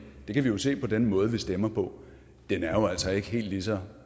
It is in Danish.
det kan vi jo se på den måde vi stemmer på er jo altså ikke helt lige så